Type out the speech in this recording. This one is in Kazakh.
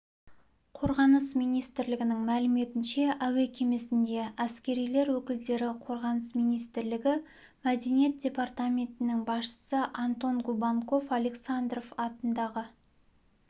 қорғаныс министрлігінің мәліметінше әуе кемесінде әскерилер өкілдері қорғаныс министрлігі мәдениет департаментінің басшысы антон губанков александров атындағы